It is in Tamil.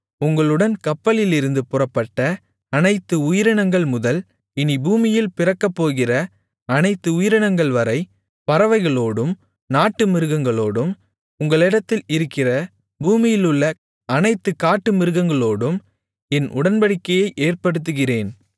உங்களுடன் கப்பலிலிருந்து புறப்பட்ட அனைத்து உயிரினங்கள்முதல் இனிப் பூமியில் பிறக்கப்போகிற அனைத்து உயிரினங்கள்வரை பறவைகளோடும் நாட்டுமிருகங்களோடும் உங்களிடத்தில் இருக்கிற பூமியிலுள்ள அனைத்து காட்டுமிருகங்களோடும் என் உடன்படிக்கையை ஏற்படுத்துகிறேன்